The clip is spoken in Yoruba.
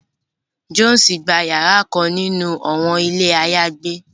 Jones gbà yàrà kàn nínú awọn ilé ayagbe